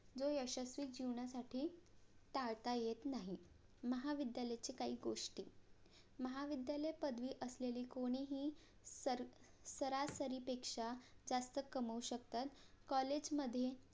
जो यशस्वी जीवनासाठी टाळता येत नाही महाविद्यालयाचे काही गोष्टी महाविद्यालय पदवी असलेले कोणीही सर सरासरीपेक्षा जास्त कमवू शकतात COLLAGE मधे